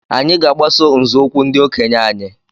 Anyị ga-agbaso nzọụkwụ ndi okenye anyị.